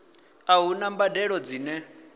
a hu na mbadelo dzine